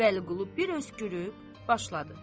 Vəliqulu bir öskürüb, başladı.